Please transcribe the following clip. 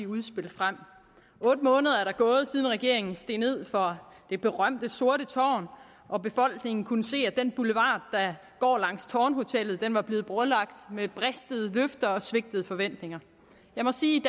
udspil frem otte måneder er der gået siden regeringen steg ned fra det berømte sorte tårn og befolkningen kunne se at den boulevard der går langs tårnhotellet var blevet brolagt med bristede løfter og svigtede forventninger jeg må sige